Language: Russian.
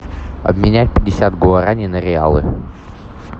обменять пятьдесят гуараней на реалы